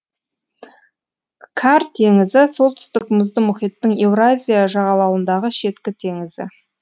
кар теңізі солтүстік мұзды мұхиттың еуразия жағалауындағы шеткі теңізі